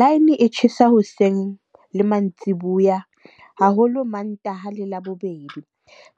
Line e tjhesa hoseng le mantsiboya haholo, Mantaha le Labobedi.